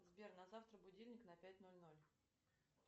сбер на завтра будильник на пять ноль ноль